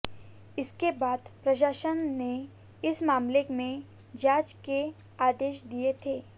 इसके बाद प्रशासन ने इस मामले में जांच के आदेश दिए थे